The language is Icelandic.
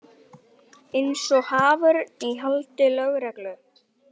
Eins og haförn í haldi lögreglu.